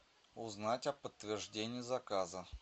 узнать о подтверждении заказа